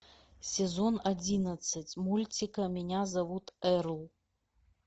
сезон одиннадцать мультика меня зовут эрл